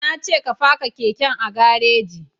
Na ce ka faka keken a gareji